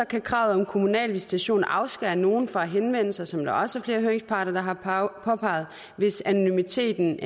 kan kravet om kommunal visitation afskære nogle fra at henvende sig som der også er flere høringsparter der har påpeget hvis anonymiteten